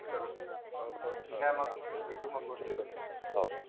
ठीक आहे मग